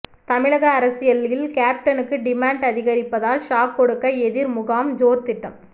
தமிழக அரசியலில் கேப்டனுக்கு டிமாண்ட் அதிகரிப்பதால் ஷாக் கொடுக்க எதிர் முகாம் ஜோர் திட்டம்